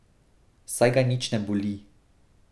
Saj ga nič ne boli.